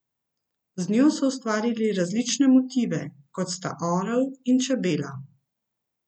Z njo so ustvarili različne motive, kot sta orel in čebela.